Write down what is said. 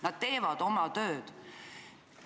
Nad teevad oma tööd.